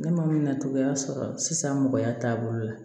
Ne ma na cogoya sɔrɔ sisan mɔgɔya taabolo la